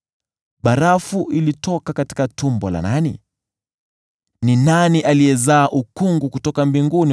Barafu inatoka tumbo la nani? Ni nani azaaye ukungu kutoka mbinguni,